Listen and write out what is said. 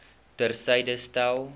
ter syde stel